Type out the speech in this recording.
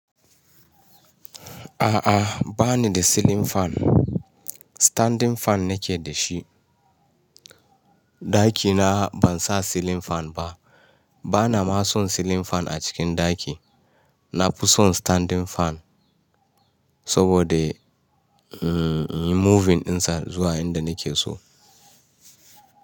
A'a, ba ni da ceiling fan. Standing fan nake da shi. Ɗaki na ban sa ceiling fan ba. Bana ma son ceiling fan a cikin ɗaki. Na fi son standing fan saboda, mm, inyi moving ɗinsa zuwa inda nake so.